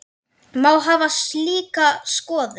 Má hafa slíka skoðun?